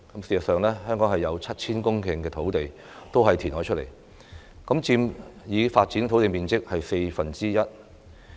事實上，香港有 7,000 公頃土地都是填海得來，佔已發展土地面積四分之一。